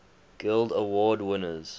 guild award winners